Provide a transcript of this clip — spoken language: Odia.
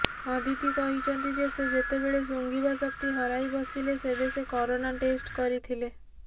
ଅଦିତି କହିଛନ୍ତି ଯେ ସେ ଯେତେବେଳେ ଶୁଂଘିବା ଶକ୍ତି ହରାଇବସିଲେ ସେବେ ସେ କରୋନା ଟେଷ୍ଟ କରିଥିଲେ